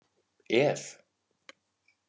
Ð